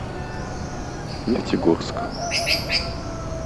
нефтегорск